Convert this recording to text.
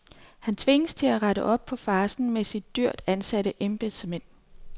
Han tvinges til at rette op på farcen med sine dyrt ansatte embedsmænd.